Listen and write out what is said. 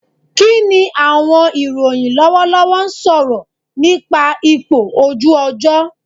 Kini awọn iroyin lọwọlọwọ sọrọ nipa ipo oju ojo